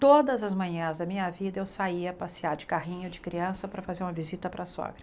Todas as manhãs da minha vida eu saía passear de carrinho de criança para fazer uma visita para a sogra.